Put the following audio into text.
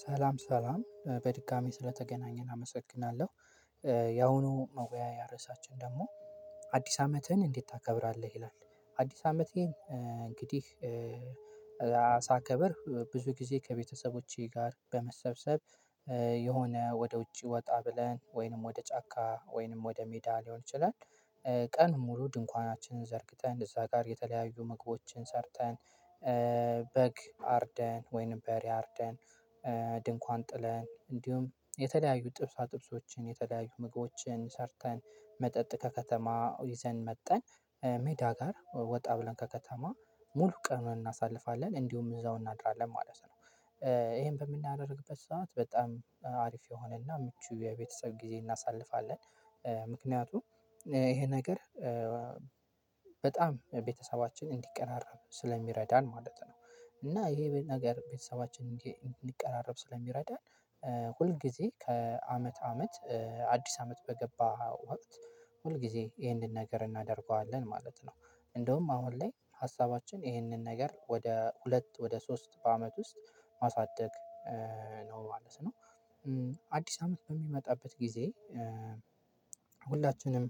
ሰላም ሰላም በድጋሚ ስለተገናኘን አመሰግናለሁ። ያሁኑ መወያያ ርዕሳችን ደግሞ አዲስ አመትህን እንዴት ታከብራለህ? ይላል። አዲስ አመቴን እንግዲህ ብዙ ጊዜ ከቤተሰቦቼ ጋር በመሰብሰብ። የሆነ ወደ ውጪ ወጣ ብለን ወይንም ወደ ጫካ ወይንም ወደ ሜዳ ሊሆን ይችላል። ቀኑን ሙሉ ድንኳናችንን ዘርግተን እዛ ጋር የተለያዩ ምግቦችን ሰርተን። በግ አርደን ወይንም በሬ አርደን። ድንኳን ጥለን እንዲሁም የተለያዩ ጥብሳ ጥብሶችን የተለያዩ ምግቦችን ሰርተን መጠጥ ከከተማ ይዘን መጠን ሜዳ ጋር ወጣ ብለን ከከተማ ሙሉ ቀኑን እናሳልፋለን እንዲሁም እዛው እናድራለን ማለት ነው። ይሄን በምናደርግበት ሰዓት በጣም አሪፍ የሆነና ምቹ የቤተሰብ ጊዜ እናሳልፋለን። ምክንያቱም ይሄ ነገር በጣም ቤተሰባችን እንዲቀራረብ ስለሚረዳን ማለት ነው። እና ይሄ ነገር ቤተሰባችን እንዲቀራረብ ስለሚረዳን። ሁል ጊዜ ከአመት አመት አዲስ አመት በገባ ወቅት ሁል ጊዜ ይህንን ነገር እናደርገዋለን ማለት ነው። እንደውም አሁን ላይ ሀሳባችን ይህንን ነገር ወደ ሁለት ወደ ሶስት በአመት ውስጥ ማሳደግ ነው ማለት ነው። አዲስ አመት በሚመጣበት ጊዜ ሁላችንም